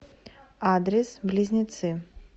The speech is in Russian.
адрес близнецы